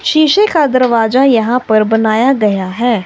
शीशे का दरवाजा यहां पर बनाया गया है।